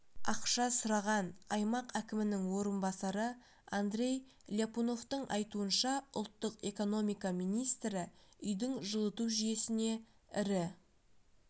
ақша сұраған аймақ әкімінің орынбасары андрей ляпуновтың айтуынша ұлттық экономика министрі үйдің жылыту жүйесіне ірі